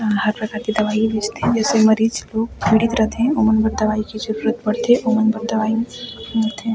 इहाँ हर प्रकार के दवाई बेचथे जैसे मरीज़ को पीड़ित रईथे ओ मन बर दवाई रईथे ओ मन ल दवाई के जरूरत पड़थे ओमन बर दवाई मिलथे।